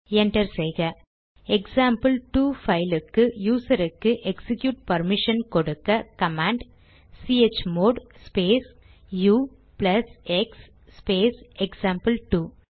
enter செய்க எக்சாம்பிள்2 பைலுக்கு யூசருக்கு எக்சிக்யூட் பர்மிஷன் கொடுக்க command chmod space u plus x space எக்சாம்பிள்2